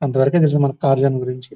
అంతవరకే తెలుస మనకి కార్ జోన్ గురించి --